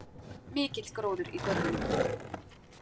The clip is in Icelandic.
Mikill gróður í görðunum.